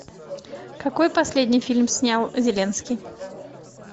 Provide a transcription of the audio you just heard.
какой последний фильм снял зеленский